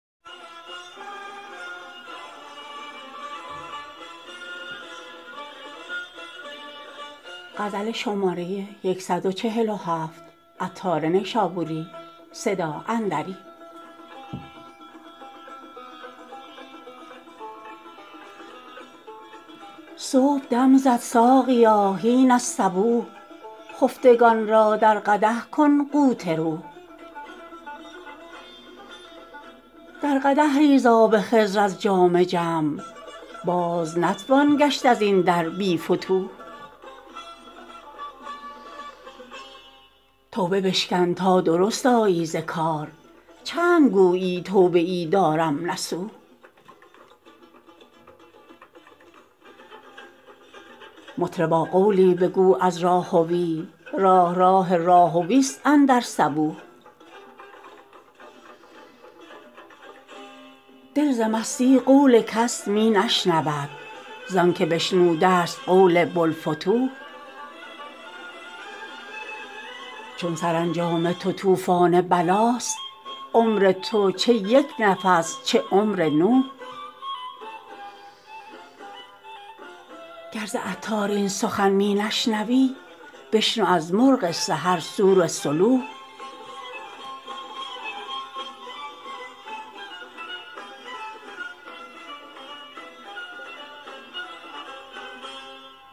صبح دم زد ساقیا هین الصبوح خفتگان را در قدح کن قوت روح در قدح ریز آب خضر از جام جم باز نتوان گشت ازین در بی فتوح توبه بشکن تا درست آیی ز کار چند گویی توبه ای دارم نصوح مطربا قولی بگو از راهوی راه راه راهوی است اندر صبوح دل ز مستی قول کس می نشنود زانکه بشنوده است قول بوالفتوح چون سرانجام تو طوفان بلاست عمر تو چه یک نفس چه عمر نوح گر ز عطار این سخن می نشنوی بشنو از مرغ سحر صور صلوح